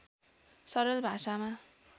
सरल भाषामा